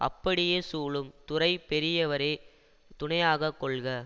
அப்படியே சூழும் துறை பெரியவரே துணையாக கொள்க